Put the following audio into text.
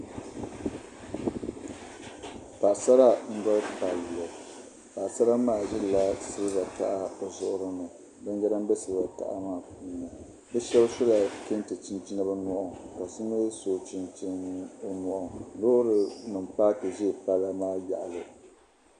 Paɣasara n doli tab chɛna paɣasara maa ʒirila siliba taha bi zuɣu ni binyɛra n bɛ siliba taha maa puuni shab sola kɛntɛ chinchina bi nyoɣani ka so mii so chinchini o nyoɣani loori nim paaki ʒɛ palli maa yaɣali